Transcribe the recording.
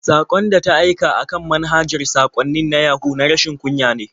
Saƙon da ta aika a kan manhajar saƙwannin na Yahu na rashin kunya ne.